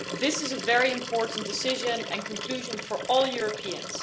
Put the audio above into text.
This is a very important decision and conclusion for all Europeans.